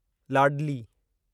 लाॾली